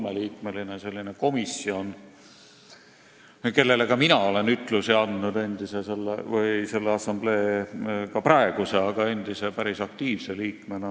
Neil on kolmeliikmeline komisjon, kellele minagi olen ütlusi andnud selle assamblee praeguse, aga ka endise päris aktiivse liikmena.